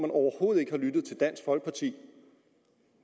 overhovedet ikke har lyttet til dansk folkeparti